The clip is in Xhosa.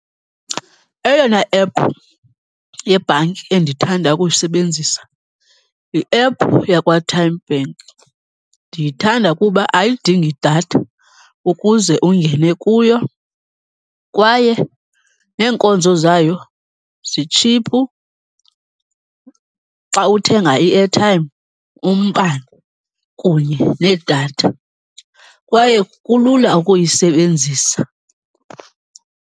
Eyona ephu yebhanki endithanda ukuyisebenzisa yiephu yakwaTymeBank. Ndiyithanda kuba ayidingi datha ukuze ungene kuyo kwaye neenkonzo zayo zitshiphu xa uthenga i-airtime, umbane kunye nedatha. Kwaye kulula ukuyisebenzisa.